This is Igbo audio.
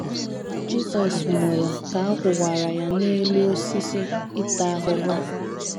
Jisọs nwụrụ ka a kwụwara ya n’elu osisi ịta ahụhụ.